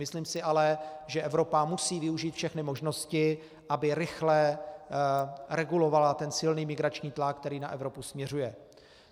Myslím si ale, že Evropa musí využít všechny možnosti, aby rychle regulovala ten silný migrační tlak, který na Evropu směřuje.